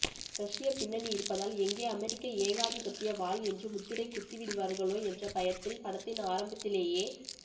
ரஷ்யப் பின்னணி இருப்பதால் எங்கே அமெரிக்க ஏகாதிபத்திய வால் என்று முத்திரை குத்திவிடுவார்களோ என்ற பயத்தில் படத்தின் ஆரம்பத்திலேயே